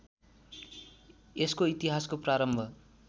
यसको इतिहासको प्रारम्भ